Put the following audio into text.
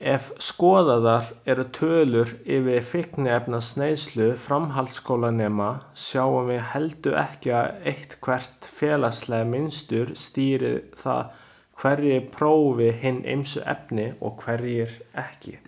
Ef skoðaðar eru tölur yfir fíkniefnaneyslu framhaldsskólanema sjáum við heldur ekki að eitthvert félagslegt mynstur skýri það hverjir prófi hin ýmsu efni og hverjir ekki.